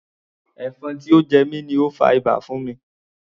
Ẹ̀fọn tí ó jẹ mi ni ó fa ibà fún mi.